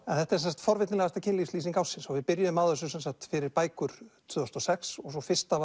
þetta er forvitnilegasta kynlífslýsing ársins við byrjuðum á þessu fyrir bækur tvö þúsund og sex og fyrsta